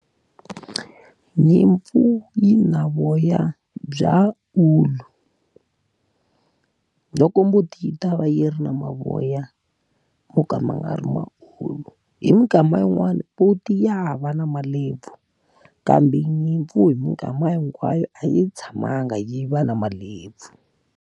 Nyimpfu yi na voya bya ulu, loko mbuti yi ta va yi ri na mavoya mo ka ma nga ri ma ulu. Hi minkama yin'wani muti ya hava na malebvu, kambe nyimpfu hi minkama hinkwayo a yi tshamanga yi va na malebvu.